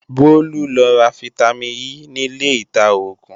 Bólú lọ ra fítámìn E nílé ìta-oògùn